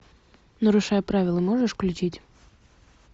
нарушая правила можешь включить